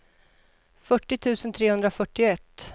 fyrtio tusen trehundrafyrtioett